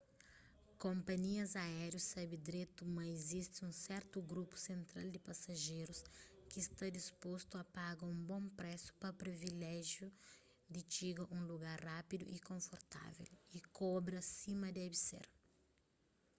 konpanhias aériu sabe dretu ma izisti un sertu grupu sentral di pasajerus ki sta dispostu a paga un bon présu pa privilejiu di txiga un lugar rápidu y konfortável y kobra sima debe ser